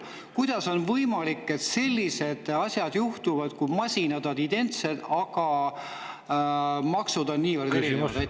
Kuidas on võimalik, et sellised asjad juhtuvad – masinad on identsed, aga maksud on niivõrd erinevad?